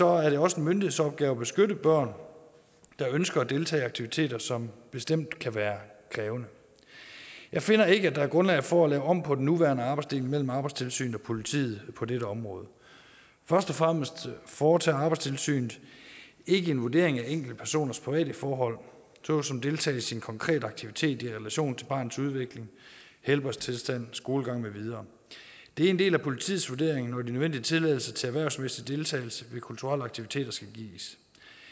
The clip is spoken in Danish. er det også en myndighedsopgave at beskytte børn der ønsker at deltage i aktiviteter som bestemt kan være krævende jeg finder ikke at der er grundlag for at lave om på den nuværende arbejdsdeling mellem arbejdstilsynet og politiet på dette område først og fremmest foretager arbejdstilsynet ikke en vurdering af enkeltpersoners private forhold såsom deltagelse i en konkret aktivitet i relation til barnets udvikling helbredstilstand skolegang med videre det er en del af politiets vurdering når de nødvendige tilladelser til erhvervsmæssig deltagelse ved kulturelle aktiviteter skal gives